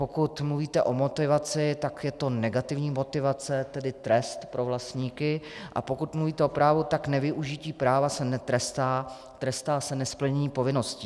Pokud mluvíte o motivaci, tak je to negativní motivace, tedy trest pro vlastníky, a pokud mluvíte o právu, tak nevyužití práva se netrestá, trestá se nesplnění povinností.